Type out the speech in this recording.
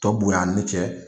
Tɔ bonya ni cɛ.